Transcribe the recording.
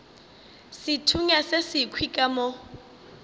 sethunya se sekhwi ka mo